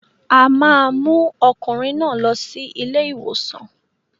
A máa mú ọkùnrin náà lọ sí ilé-ìwòsàn.